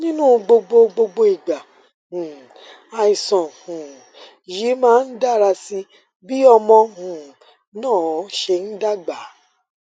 nínú gbogbo gbogbo ìgbà um àìsàn um yìí máa ń dára sí i bí ọmọ um náà ṣe ń dàgbà